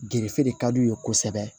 Gerefe de ka d'u ye kosɛbɛ